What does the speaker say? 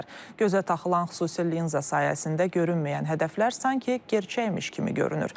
Gözə taxılan xüsusi linza sayəsində görünməyən hədəflər sanki gerçəkmiş kimi görünür.